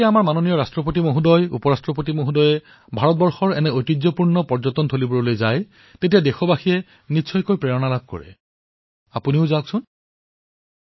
আমাৰ ৰাষ্ট্ৰপতি মহোদয় উপৰাষ্ট্ৰপতি মহোদয়ে যেতিয়া এই পৰ্যটনস্থলীসমূহলৈ গৈছে ইয়াৰ জৰিয়তে দেশবাসী নিশ্চয়কৈ অনুপ্ৰেৰিত হব আপোনালোকে নিশ্চয়কৈ যাওক